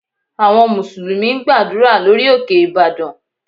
Àwọn Mùsùlùmí ń gbàdúrà lórí òkè Ìbàdàn